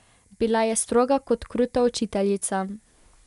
Bila je stroga, tudi kruta učiteljica.